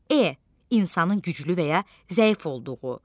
E. insanın güclü və ya zəif olduğu.